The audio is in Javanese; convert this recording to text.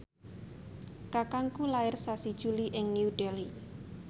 kakangku lair sasi Juli ing New Delhi